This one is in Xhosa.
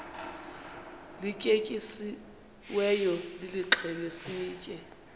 lityetyisiweyo nilixhele sitye